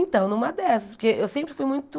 Então, numa dessas, porque eu sempre fui muito...